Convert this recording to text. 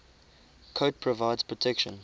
coat provides protection